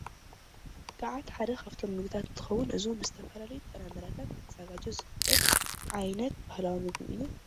ግዓት ሓደ ካፍቶም ምግብታት እንትኸዉን እዚ ዉን ብዝተፈላለዩ ጥራምረታት ክዛጋጆ ዝክእል ዓይነት ባህላዊ ምግቢ እዩ።